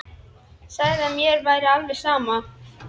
Sagði að mér væri alveg sama.